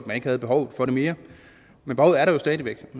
man ikke havde behovet for det mere men behovet er der jo stadig væk